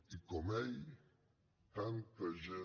i com ell tanta gent